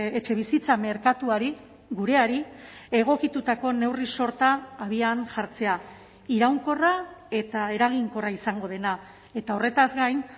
etxebizitza merkatuari gureari egokitutako neurri sorta abian jartzea iraunkorra eta eraginkorra izango dena eta horretaz gain